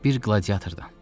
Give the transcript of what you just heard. Bir qladiatordan.